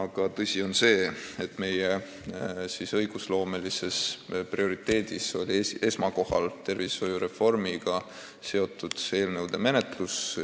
Aga tõsi on see, et meie õigusloomelises prioriteedis oli esikohal tervishoiureformiga seotud eelnõude menetlus.